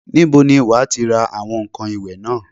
Ibo ni wà á ti ra àwọn ǹkan ìwẹ̀ náà?